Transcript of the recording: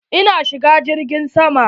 Eh na shiga jirgin sama.